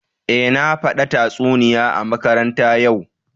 Eh, na fada tatsuniya a makaranta ya'u